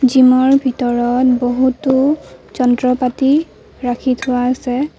Gym ৰ ভিতৰত বহুতো যন্ত্ৰপাতি ৰাখি থোৱা আছে।